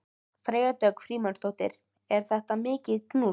Freyja Dögg Frímannsdóttir: Er þetta mikil kúnst?